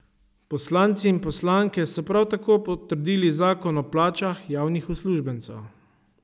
Poslanci in poslanke so prav tako potrdili zakon o plačah javnih uslužbencev.